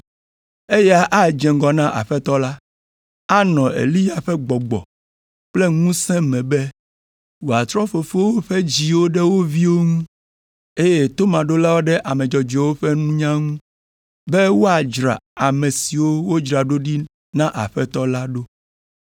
Eya adze ŋgɔ na Aƒetɔ la, anɔ Eliya ƒe gbɔgbɔ kple ŋusẽ me be wòatrɔ fofowo ƒe dziwo ɖe wo viwo ŋu, eye tomaɖolawo ɖe ame dzɔdzɔewo ƒe nunya ŋu, be wòadzra ame siwo wodzra ɖo ɖi na Aƒetɔ la ɖo.”